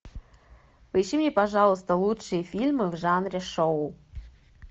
поищи мне пожалуйста лучшие фильмы в жанре шоу